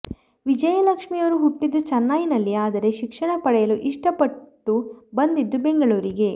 ವಿಜಯಲಕ್ಷ್ಮಿಯವರು ಹುಟ್ಟಿದ್ದು ಚೆನ್ನೈನಲ್ಲಿ ಆದರೆ ಶಿಕ್ಷಣ ಪಡೆಯಲು ಇಷ್ಟ ಪಟ್ಟು ಬಂದಿದ್ದು ಬೆಂಗಳೂರಿಗೆ